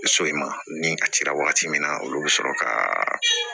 So in ma ni a cira wagati min na olu be sɔrɔ ka